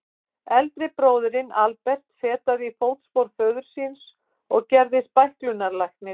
Eldri bróðirinn, Albert, fetaði í fótspor föður síns og gerðist bæklunarlæknir.